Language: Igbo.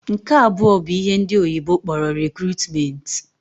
Nke abụọ bụ ihe ndị oyibo kpọrọ 'recruitment'.